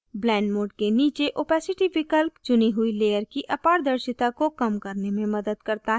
blend mode के नीचे opacity विकल्प चुनी हुई layer की अपारदर्शिता को कम करने में मदद करता है